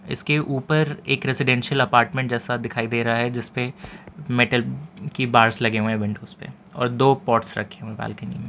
इसके ऊपर एक रेजिडेंशियल अपार्टमेंट जैसा दिखाई दे रहा है जिसपे मेटल की बार्स लगे हुए हैं विंडोज पे और दो पॉट्स रखे हुए हैं बालकनी में।